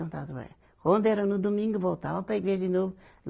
Voltava a trabalhar. Quando era no domingo, voltava para a igreja de novo.